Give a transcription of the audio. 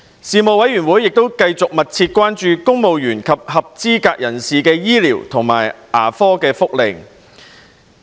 事務委員會繼續密切關注公務員及合資格人士的醫療及牙科福利。